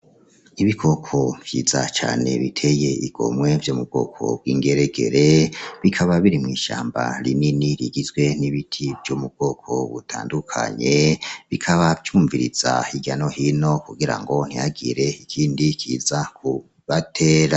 Ibikoko vyiza cane biteye igomwe vyo mu bwoko bw'ingeregere bikaba biri mw'ishamba rinini rigizwe n'ibiti vyo mu bwoko butandukanye bikaba vyumviriza hirya no hino kugira ngo ntihagire ikindi kiza kubatera.